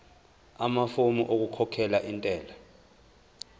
amafomu okukhokhela intela